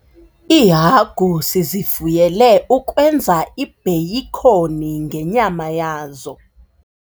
Iihagu sizifuyele ukwenza ibheyikhoni ngenyama yazo.